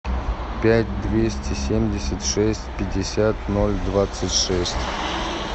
пять двести семьдесят шесть пятьдесят ноль двадцать шесть